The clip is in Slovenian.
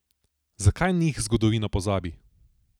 Zakaj njih zgodovina pozabi?